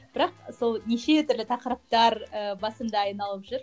бірақ сол неше түрлі тақырыптар ы басымда айналып жүр